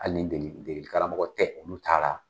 Hali ni degeli karamɔgɔ tɛ olu ta la.